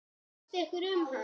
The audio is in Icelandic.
Hvað fannst ykkur um hann?